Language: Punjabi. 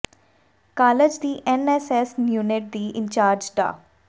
ਕਾਲਜ ਦੀ ਐਨ ਐਸ ਐਸ ਯੂਨਿਟ ਦੀ ਇੰਚਾਰਜ ਡਾ